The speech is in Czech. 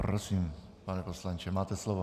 Prosím, pane poslanče, máte slovo.